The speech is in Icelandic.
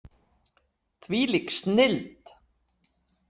Hvílík snilld!